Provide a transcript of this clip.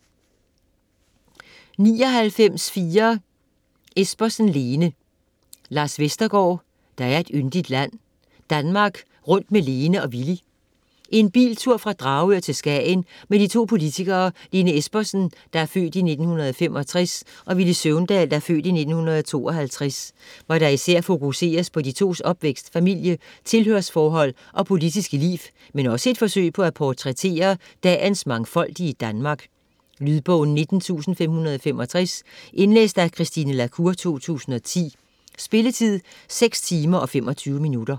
99.4 Espersen, Lene Vestergaard, Lars: Der er et yndigt land: Danmark rundt med Lene og Villy En biltur fra Dragør til Skagen med de to politikere Lene Espersen (f. 1965) og Villy Søvndal (f. 1952), hvor der især fokuseres på de tos opvækst, familie, tilhørsforhold og politiske liv, men også et forsøg på at portrættere dagens mangfoldige Danmark. Lydbog 19565 Indlæst af Christine la Cour, 2010. Spilletid: 6 timer, 25 minutter.